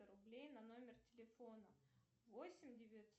рублей на номер телефона восемь девятьсот